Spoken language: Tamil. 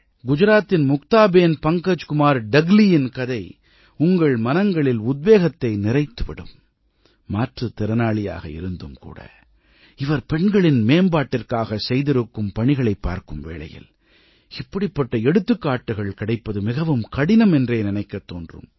குஜராத்தின் முக்தாபேன் பங்கஜ்குமார் தக்லீயின் கதை உங்கள் மனங்களில் உத்வேகத்தை நிறைத்து விடும் மாற்றுத் திறனாளியாக இருந்தும் கூட இவர் பெண்களின் மேம்பாட்டிற்காக செய்திருக்கும் பணிகளைப் பார்க்கும் வேளையில் இப்படிப்பட்ட எடுத்துக்காட்டுகள் கிடைப்பது மிகவும் கடினம் என்றே நினைக்கத் தோன்றும்